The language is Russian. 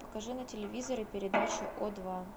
покажи на телевизоре передачу о два